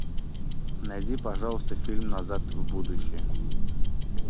найди пожалуйста фильм назад в будущее